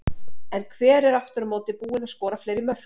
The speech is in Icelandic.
En hver er aftur á móti búinn að skora fleiri mörk?